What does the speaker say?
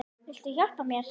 Viltu hjálpa mér?